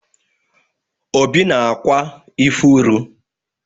Obi na-akwa ifuru.